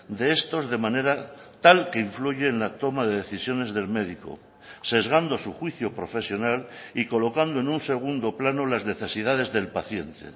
de estos de manera tal que influye en la toma de decisiones del médico sesgando su juicio profesional y colocando en un segundo plano las necesidades del paciente